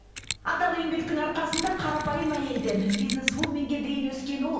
адал еңбектің арқасында қарапайым әйелден бизнесвуменге дейін өскен ол